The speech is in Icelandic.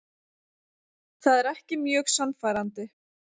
Það er ekki mjög sannfærandi.